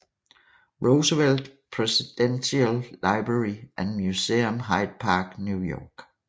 Roosevelt Presidential Library and Museum Hyde Park New York